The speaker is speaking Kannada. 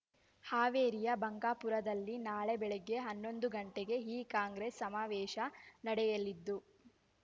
ಹಾವೇರಿಯ ಬಂಕಾಪುರದಲ್ಲಿ ನಾಳೆ ಬೆಳಿಗ್ಗೆ ಹನ್ನೊಂದು ಗಂಟೆಗೆ ಈ ಕಾಂಗ್ರೆಸ್ ಸಮಾವೇಶ ನಡೆಯಲಿದ್ದು